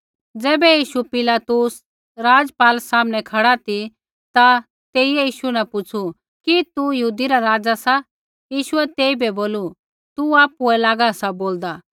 ज़ैबै यीशु पिलातुस राज़पाल सामनै खड़ा ती ता तेइयै यीशु न पुछ़ू कि तू यहूदी रा राज़ा सा यीशुऐ तेइबै बोलू तू आपुऐ लागा सा बोलदा